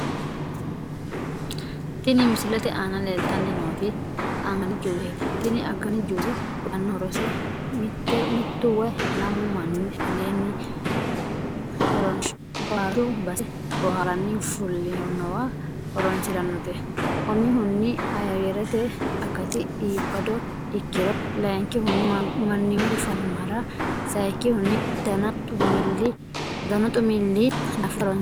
Tini misilete aana leelitani nooti agani juuseti. Tini agani juuse uyitano horrose mitu woyi lamu Mani aleeni booharushshu base boharani fulinowa horonisiranote umihuni ayyerete akati iibado ikkirro, layikihuni manimate fayyimara, sayiikihuni danu xumili daafira horonisirano.